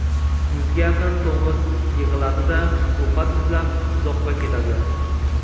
Yuzga yaqin to‘ng‘iz yig‘iladi-da, ovqat izlab uzoqqa ketadi.